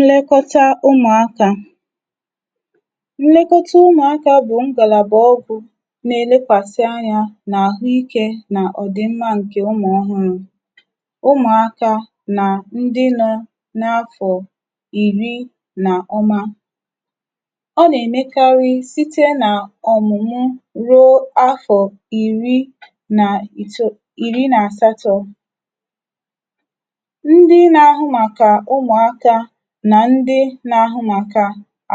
nlẹkọta ụmụ̀akā. nlẹkọta ụmụ̀akā bụ̀ ngàlàbà ọgwụ na ẹlẹkwàsa anyā n’àhụ ikē nà ọ̀dịmmā ǹkẹ ụmụ̀ ọhụrụ̄. ụmụ̀akā nà ndị nọ n’afọ̀ ìri nà ọnwa. ọ nà ẹmẹkarị site nà ọ̀mụ̀mụ ruo n’afọ̀ ìri nà ìtoo ìri nà àsato. ndị na ahụ màkà ụmụ̀akā, nà ndị na ahụ màkà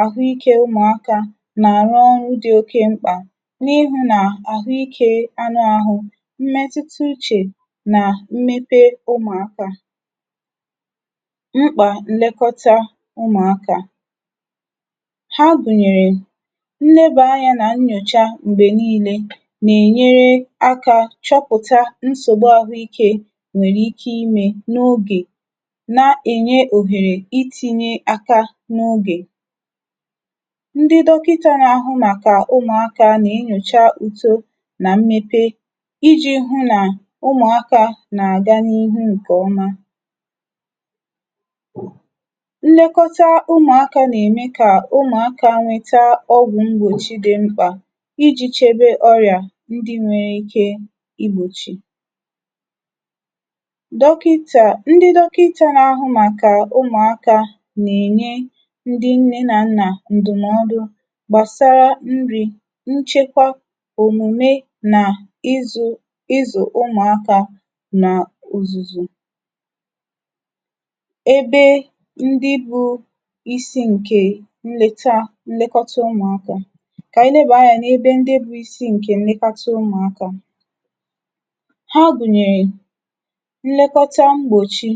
àhụ ikē ụmụ̀akā nà àrụ ọrụ dị oke mkpà, n’ihụ̄ nà àhụ ikē anụ ahụ, mmẹtụta uchè, nà mmepe ụmụ̀akā. mkpà nlẹkọta ụmụ̀akā. ha gùnyèrè, nlẹba anyā nà nyòcha m̀gbè nille nà ènyere akā chọpụ̀ta nsògbu àhụ ikē nwẹ̀rẹ̀ ike ịmē n’ogè, na ẹ̀nye ohèrè itīnye aka n’ogè. ndị dọkịta na ahụ màkà ụmụ̀akā nà enyòcha uto nà mmepe, ijī hụ nà ụmụ̀akā nà àga n’ihu ǹkẹ ọma. nnẹkọta ụmụ̀akā nà ẹmẹ kà ụmụ̀akā nwẹta ọgwụ̄ mgbòchi dị mkpà, ijī chebe ọrị̀à ndị nwẹ ike ị gbòchì. dọkịnta na ahụ màkà ụmụ̀akā nà ènye ndị nnẹ nà nnà ǹdụ̀mọdụ gbàsara nrī, nchẹkwa, òmùme, nà ịzụ̄, ịzụ̀ ụmụ̀akā nà ụ̀zụzụ̀. ndị bụ̄ isi ǹkè nleta nlekọta ǹkè ụmụ̀akā. kà ànyị lẹbà anyā n’ebe ndị ǹke bụ isi na nlekọta ǹkè ụmụ̀akā. ha gùnyèrè, nlekọta mgbòchi,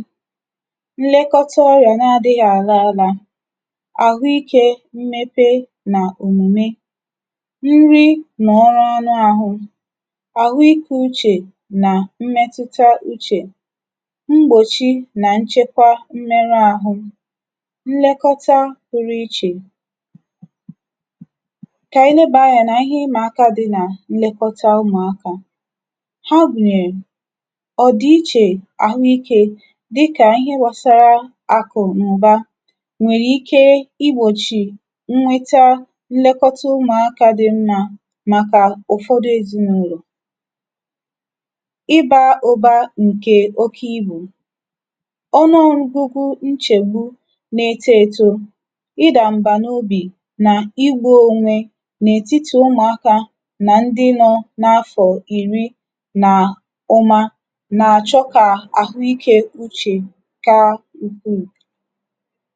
nlẹkọta ọrịà na adịghị àla ala, àhụ ikē mmepe nà òmùme anụ ahụ, àhụikē uchè nà mmẹtụta uchè, mgbòchi nà nchẹkọ mmẹruarụ, nlẹkọta pụrụ ichè. kà ànyị lẹbàa anyị n’ịhẹ ịmà akā dị nà nlẹkọta ụmụ̀akā. ha gùnyèrè, ọ̀dị̀ ichè àhụ ikē, dịkà ịhẹ gbasara àkụ̀nụ̀ba nwẹ̀rẹ̀ ike I gbòchì nweta nlẹkọta ụmụakā dị mmā, màkà ụ̀fọdụ ezịnụlọ̀. ịbā ụ̀ba ǹkẹ̀ oke ibù. ọnụọgụgụ nchègbu na eto eto, ị dà m̀bà n’obì, nà igbū onwe n’ètitì ụmụ̀akā, nà ndị nọ̄ n’afọ̀ ìri nà ọnwa, n’àchọ kà àhụ ikē uchè ka ukwù.